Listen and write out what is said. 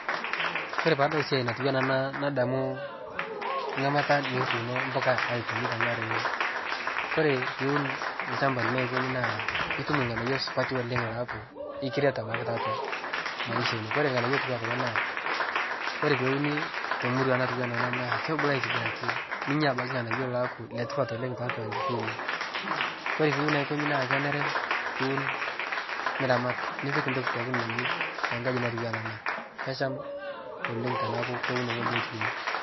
Kore paadol siai natuwana ana nadamu ng'amata nikituuno mbuka aikonyi ntankare ake kore piun lchamba lino aikonyi naa itum lng'anayo supati oleng' laaku ikiret abaki taatwa maisha ino, kore lng'anayio otuwaa kulo naa kore peuni temurua natuwana ana naa kebulu aitibiraki ninya abaki lng'anayo laaku letipat oleng' taatwa nkishui ino, kore piun aikonyi naa kenere piun niramat nipik ntoki pooki nayeu tankaji natuwana ana kesham oleng' teneaku keuno ng'oji netuwenyi.